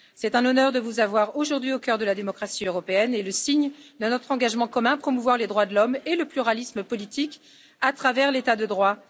C'est un honneur de vous avoir aujourd'hui au cœur de la démocratie européenne, et votre présence est le signe de notre engagement commun à promouvoir les droits de l'homme et le pluralisme politique à travers l'état de droit.